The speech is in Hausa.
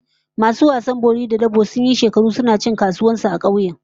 Masu wasan bori da dabo sun yi shekaru suna cin kasuwar su a kauyen